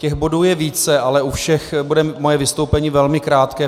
Těch bodů je více, ale u všech bude moje vystoupení velmi krátké.